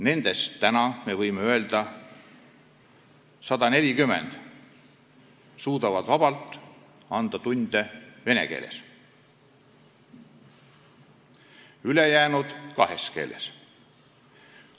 Nendest, võime öelda, 140 suudavad vabalt anda tunde vene keeles, ülejäänud kahes keeles.